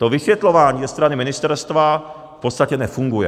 To vysvětlování ze strany ministerstva v podstatě nefunguje.